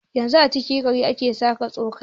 Yanzu a cikin gini ake saka soket.